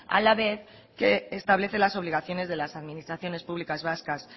a la vez que establece las obligaciones de las administraciones públicas vascas